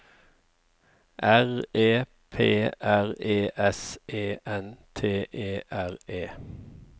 R E P R E S E N T E R E